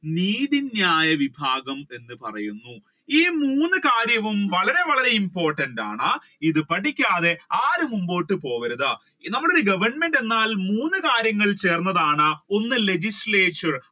നീതി ന്യായ വിഭാഗം എന്ന് പറയുന്നു. ഈ മൂന്ന് കാര്യവും വളരെ വളരെ important ആണ് ഇത് പഠിക്കാതെ ആരും മുൻപോട്ട് പോകരുത് നമ്മൾ ഒരു government എന്നാൽ മൂന്ന് കാര്യങ്ങൾ ചേർന്നതാണ് ഒന്ന് legislator